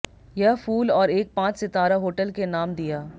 यह फूल और एक पांच सितारा होटल के नाम दिया